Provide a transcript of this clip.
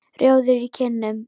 Rjóður í kinnum.